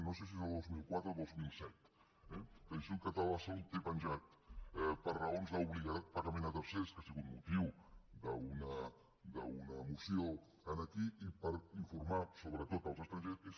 no sé si és del dos mil quatre o del dos mil set l’institut català de la salut té penjat per raons d’obligat pagament a tercers que ha sigut motiu d’una moció aquí i per informar sobretot els estrangers